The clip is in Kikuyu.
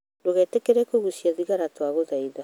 Ndûgaîtîkire kũgũcĩa thigara twagûthaitha